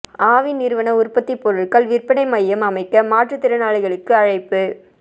ஆவின் நிறுவன உற்பத்தி பொருள்கள் விற்பனை மையம் அமைக்க மாற்றுத் திறனாளிகளுக்கு அழைப்பு